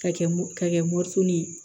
Ka kɛ ka kɛ ye